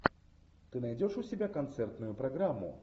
ты найдешь у себя концертную программу